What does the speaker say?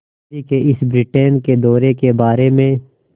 गांधी के इस ब्रिटेन दौरे के बारे में